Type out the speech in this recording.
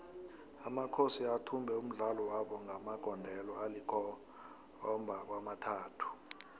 amakhosi athumbe umdlalo wabo ngamagondelo alikhomaba kwamathathu